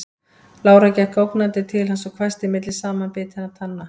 Lára gekk ógnandi til hans og hvæsti milli samanbitinna tanna